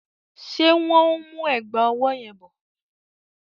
Ṣé wọ́n ń mú ẹ̀gbà ọwọ́ yẹn bọ?